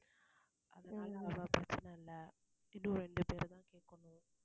அதனால அவங்க பிரச்சனை இன்னும் இரண்டு பேரை தான் கேக்கணும்.